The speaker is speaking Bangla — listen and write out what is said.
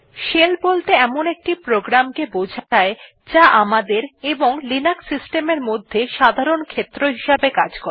শেল বলতে এমন একটি প্রোগ্রাম কে বোঝায় আমাদের এবং লিনাক্স সিস্টেম এর মধ্যে সাধারণ ক্ষেত্র হিসাবে কাজ করে